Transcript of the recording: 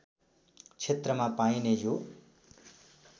क्षेत्रमा पाइने यो